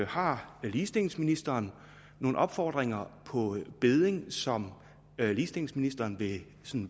har ligestillingsministeren nogle opfordringer på bedding som ligestillingsministeren vil